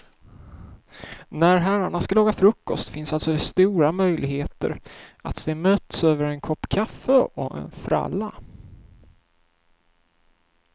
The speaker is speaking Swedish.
När herrarna ska laga frukost finns alltså det stora möjligheter att de möts över en kopp kaffe och en fralla.